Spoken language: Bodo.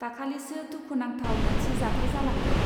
दाखालिसो दुखु नांथाव मोनसे जाथाय जालांदों.